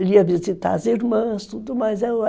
Ele ia visitar as irmãs, tudo mais